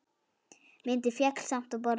Myndin féll samt á borðið.